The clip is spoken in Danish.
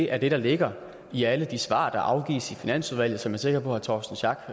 er det der ligger i alle de svar der afgives i finansudvalget som jeg er sikker på herre torsten schack